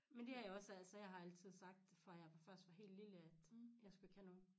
Men det har jeg også altså jeg har altid sagt fra jeg var faktisk var helt lille at jeg skulle ikke have nogen